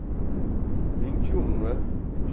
vinte um né, vinte